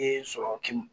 Den sɔrɔ kin